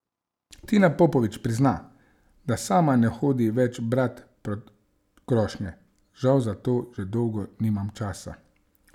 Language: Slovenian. Tina Popovič prizna, da sama ne hodi več brat pod krošnje: "Žal za to že dolgo nimam časa.